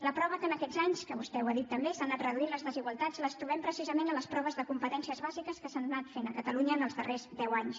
la prova que aquests anys vostè ho ha dit també s’han anat reduint les desigualtats la trobem precisament en les proves de competències bàsiques que s’han anat fent a catalunya els darrers deu anys